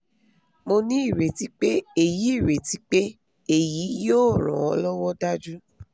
mo ní ireti pé èyí ireti pé èyí yóò ran an lọ́wọ́ dájú